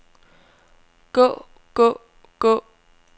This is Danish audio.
gå gå gå